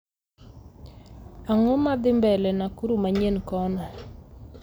Ang'o madhi mbele nakuru manyien kono